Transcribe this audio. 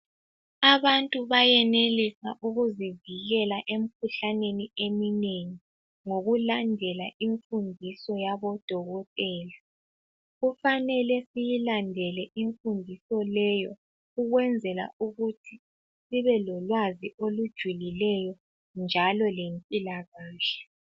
Abantu bayenelisa ukuzivikela emkhuhlaneni eminengi ngokulandela imfundiso yabo dokotela. Kufanele siyilandele imfundiso leyo ukwenzela ukuthi sibe lolwazi olujulileyo njalo lempilakahle.